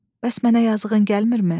bəs mənə yazığın gəlmirmi?